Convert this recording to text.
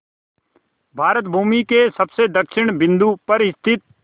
भारत भूमि के सबसे दक्षिण बिंदु पर स्थित